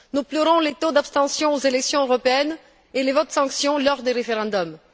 Nous pleurons les taux d'abstention aux élections européennes et les votes sanctions lors des référendums.